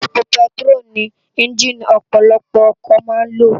Épó pètiró ni ènjiní òpòlòpò òkò má n ló